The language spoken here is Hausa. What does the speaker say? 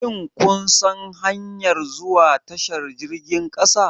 Shin kun san hanyar zuwa tashar jirgin kasa?